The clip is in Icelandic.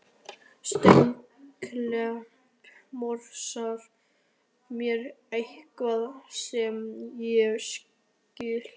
Steinklappan morsar mér eitthvað sem ég skil